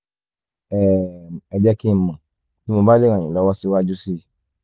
um ẹ jẹ́ kí n mọ̀ bí mo bá lè ràn yín lọ́wọ́ síwájú sí i